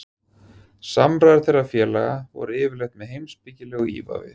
Samræður þeirra félaga voru yfirleitt með heimspekilegu ívafi.